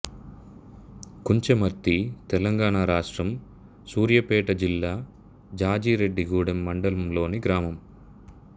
కుంచమర్తి తెలంగాణ రాష్ట్రం సూర్యాపేట జిల్లా జాజిరెడ్డిగూడెం మండలంలోని గ్రామం